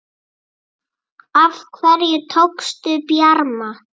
Af hverju tókstu Bjarma?